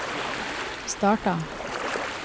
starta